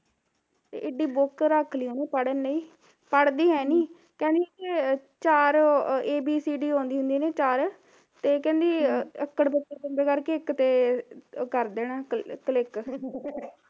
ਤੇ ਏਡੀ book ਰੱਖ ਲਈ ਉਹਨੇ ਪੜਨ ਲਈ, ਪੜ੍ਹਦੀ ਹੈ ਨੀ, ਕਹਿੰਦੀ ਚਾਰ abcd ਆਉਂਦੀ ਹੁੰਦੀ ਐ ਨਾ ਚਾਰ ਤੇ ਕਹਿੰਦੀ ਅੱਕੜ ਬੱਕੜ ਬਂਬੇ ਕਰਕੇ ਇੱਕ ਤੇ ਕਰ ਦੇਣਾ click